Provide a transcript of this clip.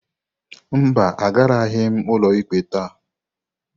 Mba, agaraghị m ụlọikpe taa.